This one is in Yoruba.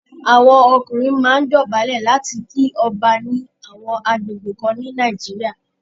Àwọn ọkùnrin máa ń dọ̀bálẹ̀ láti kí ọba ní àwọn agbègbè kan ní Nàìjíríà.